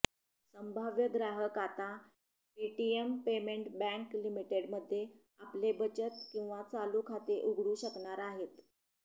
संभाव्य ग्राहक आता पेटीएम पेमेंट बँक लिमिटेडमध्ये आपले बचत किंवा चालू खाते उघडू शकणार आहेत